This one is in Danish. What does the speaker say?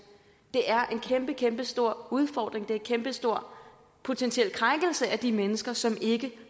det er en kæmpe kæmpe stor udfordring det er en kæmpe stor potentiel krænkelse af de mennesker som ikke